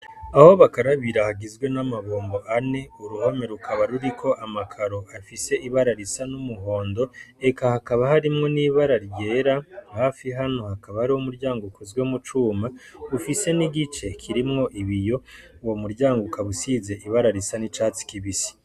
Aho bakarabira hagizwe n'amabombo ane uruhame rukaba ruriko amakaro afise ibara risa n'umuhondo eka hakaba harimwo n'ibara ryera hafi hano hakaba hari w' umuryango ukuzwe mu cuma ufise n'igice kirimwo ibiyo wo muryango ukabusize ibara risa n'icatsi kibisi.